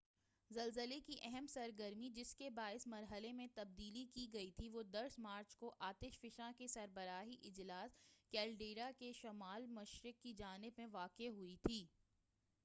زلزلے کی اہم سرگرمی جس کے باعث مرحلے میں تبدیلی کی گئی تھی وہ 10 مارچ کو آتش فشاں کے سربراہی اجلاس کیلیڈرا کے شمال مشرق کی جانب میں واقع ہوئی تھی